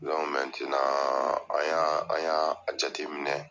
an y'a , an y'a jateminɛ